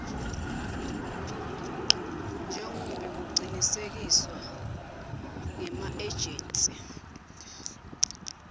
njengobe kucinisekiswe ngemaejensi